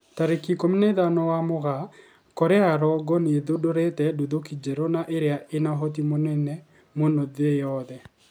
Tarĩki ikũmi na ithano wa Mugaa, Korea ya rũgongo nĩ ĩthundũrite nduthũki njerũ na ĩria ĩna ũhoti mũnene mũno thĩ yothe